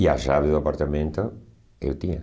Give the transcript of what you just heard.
E a chave do apartamento eu tinha.